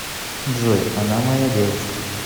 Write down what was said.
джой она моя девушка